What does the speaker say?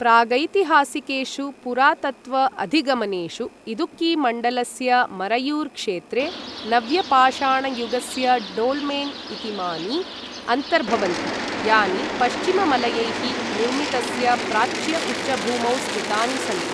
प्रागैतिहासिकेषु पुरातत्त्व अधिगमनेषु इदुक्कीमण्डलस्य मरयुर् क्षेत्रे नव्य पाषाणयुगस्य डोल्मेन् इतीमानि अन्तर्भवन्ति, यानि पश्चिममलयैः निर्मितस्य प्राच्य उच्चभूमौ स्थितानि सन्ति।